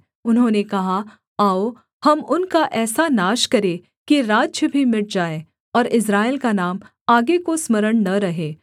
उन्होंने कहा आओ हम उनका ऐसा नाश करें कि राज्य भी मिट जाए और इस्राएल का नाम आगे को स्मरण न रहे